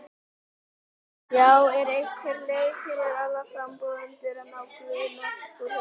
Já, er einhver leið fyrir aðra frambjóðendur að ná Guðna úr þessu?